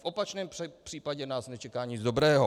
V opačném případě nás nečeká nic dobrého...